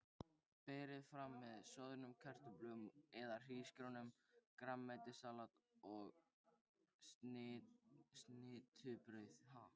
Berið fram með soðnum kartöflum eða hrísgrjónum, grænmetissalati og snittubrauði.